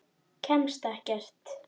Kemst ekkert.